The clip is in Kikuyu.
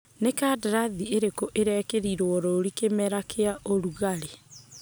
Nĩ kandarathi irĩku irekĩrirwo rũri kĩmera kĩa ũrugarĩ?